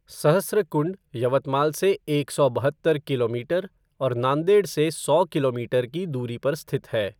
सहस्रकुंड यवतमाल से एक सौ बहत्तर किलोमीटर और नांदेड़ से सौ किलोमीटर की दूरी पर स्थित है।